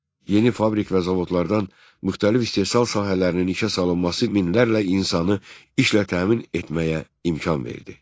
Yeni fabrik və zavodlardan müxtəlif istehsal sahələrinin ikiyə salınması minlərlə insanı işlə təmin etməyə imkan verdi.